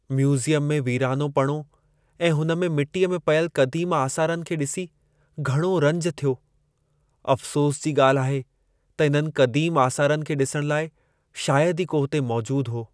Museum में वीरानोपणो ऐं हुन में मिटीअ में पयलु क़दीम आसारनि खे डि॒सी घणो रंजु थियो। अफ़सोस जी ॻाल्हि आहे त इन्हनि क़दीम आसारनि खे डि॒सणु लाइ शायदि ई को हुते मौजूदु हो।